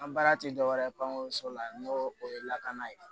An baara tɛ dɔwɛrɛ ye pankonso la n'o o ye lakana ye